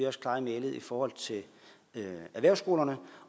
også klare i mælet i forhold til erhvervsskolerne